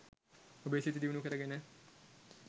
ඔබේ සිත දියුණු කරගෙන